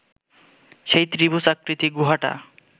সেই ত্রিভূজাকৃতি গুহাটা